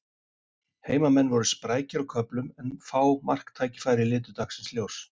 Heimamenn voru sprækir á köflum en fá marktækifæri litu dagsins ljós.